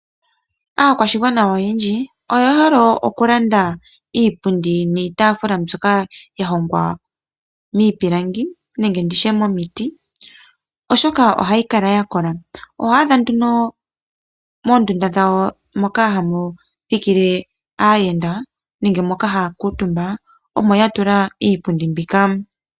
Aakwashigwana oyendji oyehole oku landa iipundi niitaafula mbyoka yahongwa miipilangi nenge nditye momiti, oshoka ohayi kala yakola. Oho adha nduno moondunda dhawo moka hamu thikile aayenda nenge moka haaa kuutumba omo yatula iipundi mbika.